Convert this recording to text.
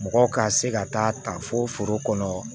Mɔgɔ ka se ka taa ta fo foro kɔnɔ